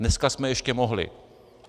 Dneska jsme ještě mohli.